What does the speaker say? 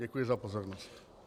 Děkuji za pozornost.